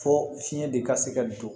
Fo fiɲɛ de ka se ka don